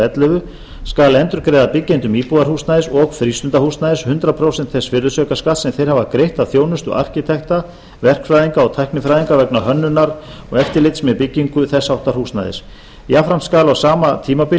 ellefu skal endurgreiða byggjendum íbúðarhúsnæðis og frístundahúsnæðis hundrað prósent þess virðisaukaskatts sem þeir hafa greitt af þjónustu arkitekta verkfræðinga og tæknifræðinga vegna hönnunar og eftirlits með byggingu þess háttar húsnæðis jafnframt skal á sama tímabili